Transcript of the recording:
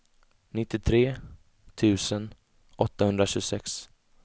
nittiotre tusen åttahundratjugosex